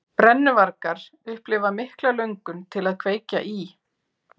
Brennuvargar upplifa mikla löngun til að kveikja í.